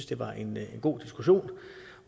det var en god diskussion